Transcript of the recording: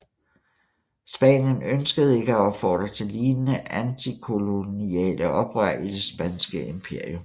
Spanien ønskede ikke at opfordre til lignende antikoloniale oprør i det spanske imperium